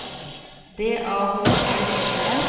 D A H L E N